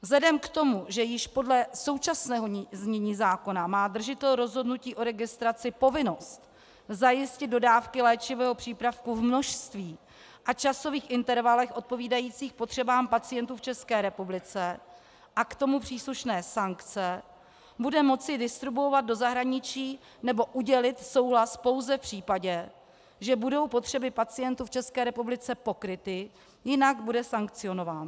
Vzhledem k tomu, že již podle současného znění zákona má držitel rozhodnutí o registraci povinnost zajistit dodávky léčivého přípravku v množství a časových intervalech odpovídajících potřebám pacientů v České republice, a k tomu příslušné sankce, bude moci distribuovat do zahraničí nebo udělit souhlas pouze v případě, že budou potřeby pacientů v České republice pokryty, jinak bude sankcionován.